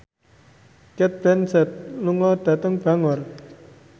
Cate Blanchett lunga dhateng Bangor